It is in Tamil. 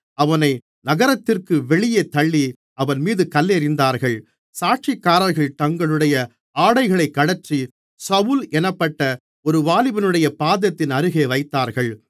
அவனை நகரத்திற்கு வெளியே தள்ளி அவன் மீது கல்லெறிந்தார்கள் சாட்சிக்காரர்கள் தங்களுடைய ஆடைகளைக் கழற்றி சவுல் என்னப்பட்ட ஒரு வாலிபனுடைய பாதத்தின் அருகே வைத்தார்கள்